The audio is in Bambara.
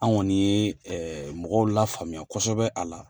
An kɔni ye mɔgɔw lafaamuya kosɛbɛ a la.